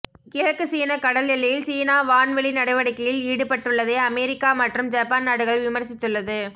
கிழக்கு சீன கடல் எல்லையில் சீனா வான்வெளி நடவடிகையில் ஈடுபட்டுள்ளதை அமெரிக்கா மற்றும் ஜப்பான் நாடுகள் விமர்சித்துள்ளது